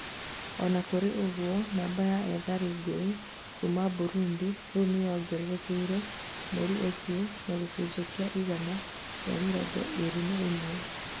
ona kũrĩ ũgũo, namba ya ethari ngũĩ kuma Burundi rĩu nĩyongererekeire mweri ũcio, na gĩcunjĩ kia igana ria mĩrongo ĩrĩ na imwe.